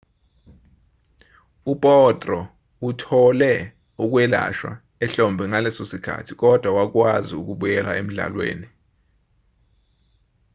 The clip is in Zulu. u-potro uthole ukwelashwa ehlombe ngaleso sikhathi kodwa wakwazi ukubuyela emdlalweni